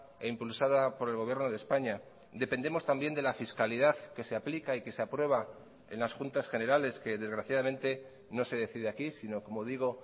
e impulsada por el gobierno de españa dependemos también de la fiscalidad que se aplica y que se aprueba en las juntas generales que desgraciadamente no se decide aquí sino como digo